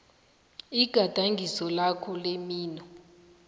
igadangiso lakho lemino